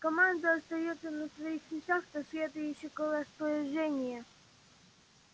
команда остаётся на своих местах до следующего распоряжения